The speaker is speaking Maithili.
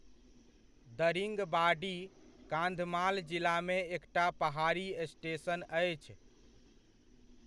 दरिङबाडी, कान्धमाल जिलामे एकटा पहाड़ी स्टेशन अछि।